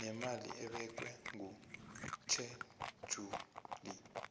nemali ebekwe kutjhejuli